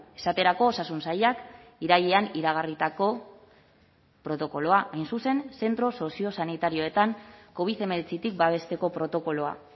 esaterako osasun sailak irailean iragarritako protokoloa hain zuzen zentro soziosanitarioetan covid hemeretzitik babesteko protokoloa